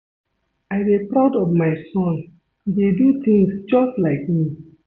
I dey proud of my son, he dey do things just like me